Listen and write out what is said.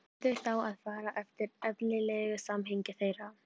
Verður þá að fara eftir eðlilegu samhengi þeirra.